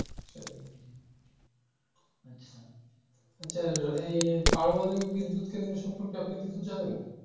আচ্ছা এই পারমাণবিক বিদ্যুৎ কেন্দ্রে সম্পর্কে আপনি কিছু জানেন?